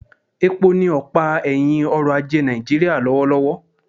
Epo ni ọ̀pá ẹ̀hìn ọrọ̀ ajé Nàìjíríà lọ́wọ́lọ́wọ́